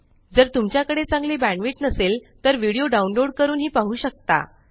जर तुमच्याकडे चांगली बॅण्डविड्थ नसेल तर व्हिडिओ डाउनलोड करूनही पाहू शकता